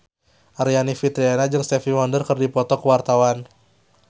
Aryani Fitriana jeung Stevie Wonder keur dipoto ku wartawan